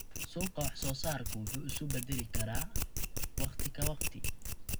Suuqa wax-soo-saarku wuu is beddeli karaa waqti ka waqti.